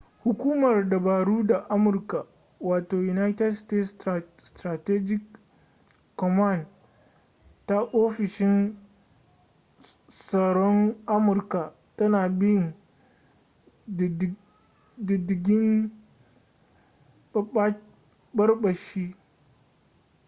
hukumar dabaru ta amurka wato united states strategic command ta ofishin tsaron amurka tana bin diddigin ɓarɓashi